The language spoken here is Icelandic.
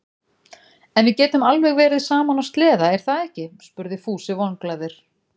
En við getum alveg verið saman á sleða, er það ekki? spurði Fúsi vonglaður.